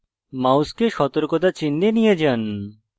মাউসকে সতর্কতা চিহ্ন এ নিয়ে যান